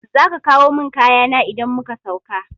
Zaka kawo mun kayana idan muka sauka